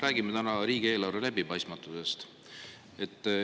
Räägime täna riigieelarve läbipaistmatusest.